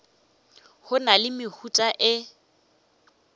go na le mehuta e